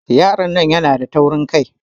Yaron nan na da taurin Kai.